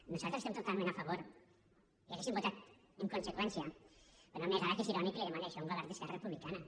nosaltres hi estem totalment a favor i hauríem votat en conseqüència però no em negarà que és irònic que li demani això a un govern d’esquerra republicana